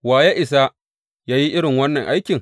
Wa ya isa yă yi irin wannan aikin?